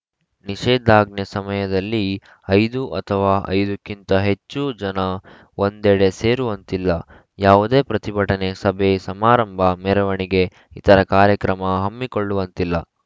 ನಿಷೇಧಾಜ್ಞೆ ಸಮಯದಲ್ಲಿ ಐದು ಅಥವಾ ಐದ ಕ್ಕಿಂತ ಹೆಚ್ಚು ಜನ ಒಂದೆಡೆ ಸೇರುವಂತಿಲ್ಲ ಯಾವುದೇ ಪ್ರತಿಭಟನೆ ಸಭೆ ಸಮಾರಂಭ ಮೆರವಣಿಗೆ ಇತರ ಕಾರ್ಯಕ್ರಮ ಹಮ್ಮಿಕೊಳ್ಳುವಂತಿಲ್ಲ